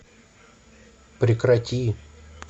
прекрати